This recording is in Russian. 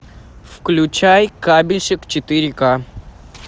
включай кабельщик четыре к